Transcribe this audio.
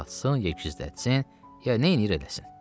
Ya satsın, ya gizlətsin, ya neyləyir eləsin?